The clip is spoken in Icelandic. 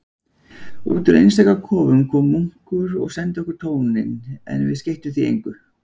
Útúr einstaka kofa kom munkur og sendi okkur tóninn, en við skeyttum því engu.